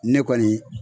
Ne kɔni